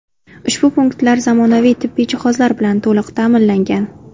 Ushbu punktlar zamonaviy tibbiy jihozlar bilan to‘liq ta’minlangan.